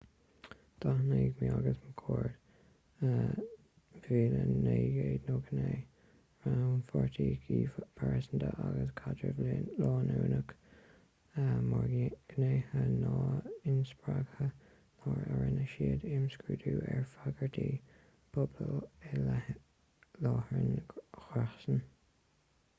d'aithin eighmey agus mccord 1998 rannpháirtíocht phearsanta agus caidreamh leanúnach mar ghnéithe nua inspreagtha nuair a rinne siad imscrúdú ar fhreagairtí pobail i leith láithreáin ghréasáin